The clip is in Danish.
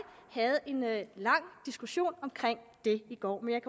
havde en lang diskussion omkring det i går men jeg